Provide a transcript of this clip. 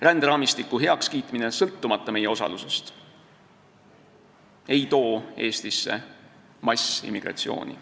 Ränderaamistiku heakskiitmine sõltumata meie osalusest ei too Eestisse massiimmigratsiooni.